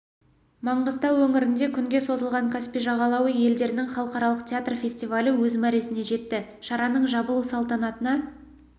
маңғыстау өңірінде күнге созылған каспий жағалауы елдерінің халықаралық театр фестивалі өз мәресіне жетті шараның жабылу салтанатына